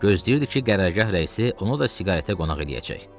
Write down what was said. Gözləyirdi ki, qərargah rəisi onu da siqaretə qonaq eləyəcək.